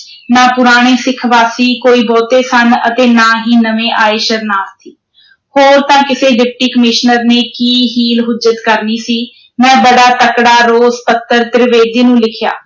ਨਾ ਪੁਰਾਣੇ ਸਿੱਖ ਵਾਸੀ ਕੋਈ ਬਹੁਤੇ ਸਨ ਅਤੇ ਨਾ ਹੀ ਨਵੇਂ ਆਏ ਸ਼ਰਨਾਰਥੀ। ਹੋਰ ਤਾਂ ਕਿਸੇ Deputy Commissioner ਨੇ ਕੀ ਹੀਲ-ਹੁੱਜਤ ਕਰਨੀ ਸੀ, ਮੈਂ ਬੜਾ ਤਕੜਾ ਰੋਸ ਪੱਤਰ ਤ੍ਰਿਵੇਦੀ ਨੂੰ ਲਿਖਿਆ